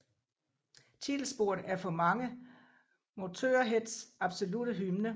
Titelsporet er for mange Motörheads absolutte hymne